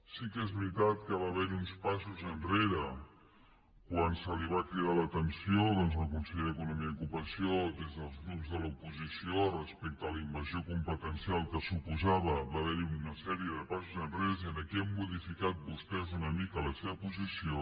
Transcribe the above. sí que és veritat que va haver hi uns passos enrere quan se li va cridar l’atenció doncs al conseller d’economia i ocupació des dels grups de l’oposició respecte a la invasió competencial que suposava va haver hi una sèrie de passos enrere i aquí han modificat vostès una mica la seva posició